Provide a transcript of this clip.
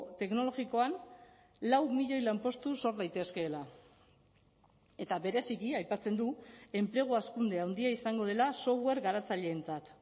teknologikoan lau milioi lanpostu sor daitezkeela eta bereziki aipatzen du enplegu hazkunde handia izango dela software garatzaileentzat